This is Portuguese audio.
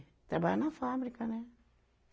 Trabalhava na fábrica, né?